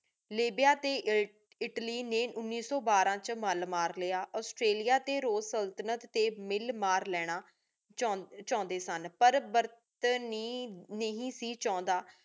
ਲਾਬਿਆ ਟੀ ਇਟਲੀ ਨੀ ਉਨੀ ਸੋ ਬਾਰਾ ਵਿਚ ਮਾਲ ਮਾਰ ਲਾਯਾ ਔਸ੍ਤ੍ਰੇਲਿਆ ਟੀ ਰੂਸ ਸੁਲ੍ਤ੍ਨਤ ਟੀ ਮਿਲ ਮਾਰ ਲੇਣਾ ਚਾਹੰਡੀ ਸਨ ਪਰ ਬਰਤਾਨੀਆ ਨਹੀ ਸੇ ਚਾਹੰਦਾ